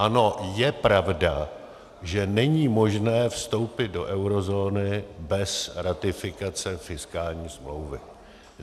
Ano, je pravda, že není možné vstoupit do eurozóny bez ratifikace fiskální smlouvy.